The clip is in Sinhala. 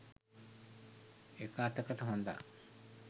එක අතකට හොඳා.